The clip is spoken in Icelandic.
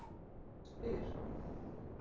Ég spyr